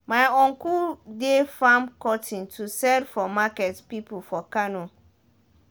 my uncle dey farm cotton to sell for market people for kano